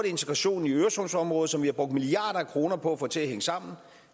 integrationen i øresundsområdet som vi har brugt milliarder af kroner på at få til at hænge sammen